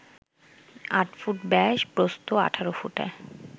৮ foot ব্যাস, প্রস্থ ১৮ ফুটে